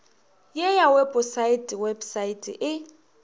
ye ya weposaete website e